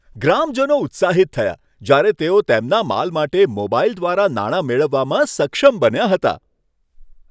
ગ્રામજનો ઉત્સાહિત થયા જ્યારે તેઓ તેમના માલ માટે મોબાઈલ દ્વારા નાણાં મેળવવામાં સક્ષમ બન્યા હતા.